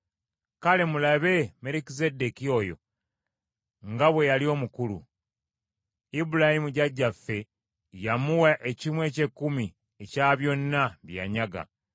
Kale mulabe Merukizeddeeki oyo nga bwe yali omukulu! Ibulayimu jjajjaffe yamuwa ekimu eky’ekkumi ekya byonna bye yanyaga.